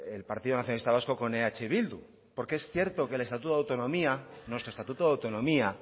el partido nacionalista vasco con eh bildu porque es cierto que el estatuto de autonomía nuestro estatuto de autonomía